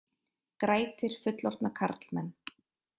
Grætir fullorðna karlmenn